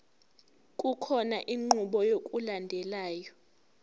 kukhona inqubo yokulandelayo